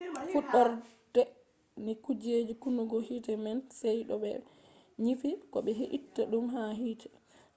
fuɗɗorde ni kuje kunnugo hite man sey to ɓe nyifi ko be itta ɗum ha hite